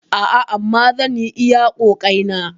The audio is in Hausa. A'a, amma zan yi iya ƙoƙaeina.